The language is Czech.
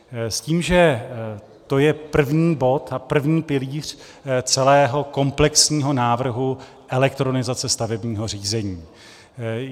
S tím, že to je první bod a první pilíř celého komplexního návrhu elektronizace stavebního řízení.